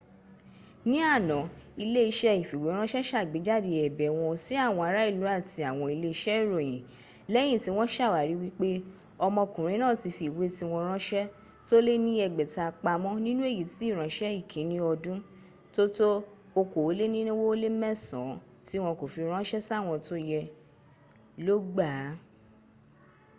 ní àná ilé-iṣẹ́ ìfìwéránṣẹ́ sàgbéjáde ẹ̀bẹ̀ wọn sí àwọn ará ìlú àti àwọn ilé-iṣẹ́ ìròyìn lẹ́yin tí wọ́n sàwárí wípé ọmọkùnrin náà ti fi ìwé tíwọ́nfiránṣẹ́ tó lé ní ẹgbẹ̀ta pamọ́́ nínú èyí tí ìránṣẹ́ ìkínni ọdún tó tó okòólénirinwó ó lé mẹ́sàn án tí wọ́n kò fi ránṣẹ́ sáwọn tó yẹ ló gbàá